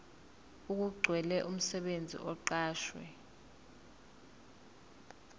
okugcwele umsebenzi oqashwe